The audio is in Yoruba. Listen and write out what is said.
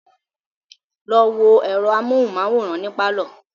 Lọ wo ẹ̀rọ amóhunmáwòrán ní pálọ̀